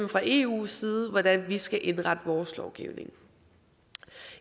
fra eus side at bestemme hvordan vi skal indrette vores lovgivning